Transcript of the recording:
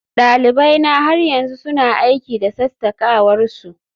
dalibaina har yanzu suna aiki da sassakawar su